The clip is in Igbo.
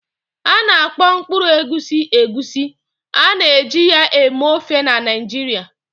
A na-akpọ mkpụrụ egusi Egusi, a na-eji ya eme ofe na Naijiria.